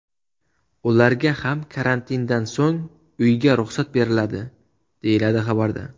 Ularga ham karantindan so‘ng uyga ruxsat beriladi, deyiladi xabarda.